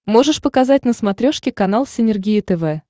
можешь показать на смотрешке канал синергия тв